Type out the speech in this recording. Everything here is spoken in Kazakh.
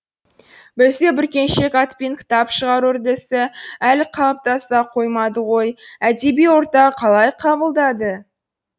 бізде бүркеншік атпен кітап шығару үрдісі әлі қалыптаса қоймады ғой әдеби орта қалай қабылдады